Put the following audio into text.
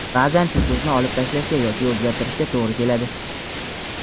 baʼzan shu so‘zni olib tashlashga yoki o‘zgartirishga to‘g‘ri keladi.